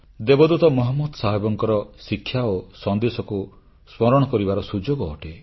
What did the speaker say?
ଦେବଦୂତ ମହମ୍ମଦଙ୍କର ଶିକ୍ଷା ଓ ସନ୍ଦେଶକୁ ସ୍ମରଣ କରିବାର ସୁଯୋଗ ଅଟେ